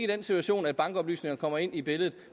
den situation at bankoplysningerne kommer ind i billedet